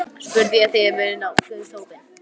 spurði ég þegar við nálguðumst hópinn.